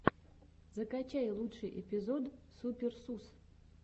закачай лучший эпизод супер сус